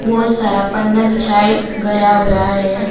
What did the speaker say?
बहुत सारा पन्ना बिछाए गया हुआ है।